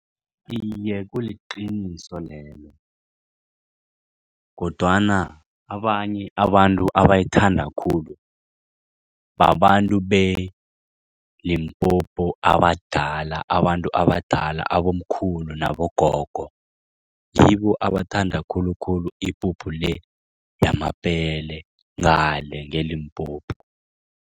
Iye, kuliqiniso lelo kodwana abanye abantu abayithanda khulu babantu be-Limpopo abadala abantu abadala abomkhulu nabogogo, ngibo abathanda khulukhulu ipuphu le yamabele ngale nge-Limpopo.